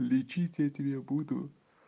лечить я тебе буду